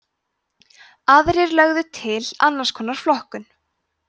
aðrir lögðu til annars konar flokkun